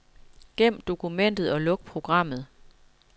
Gem dokumentet og luk programmet.